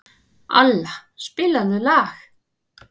Alla, spilaðu lag.